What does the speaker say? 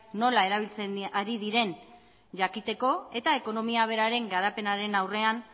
nola erabiltzen ari diren jakiteko eta ekonomia beraren garapenaren aurrean